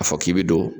A fɔ k'i bɛ don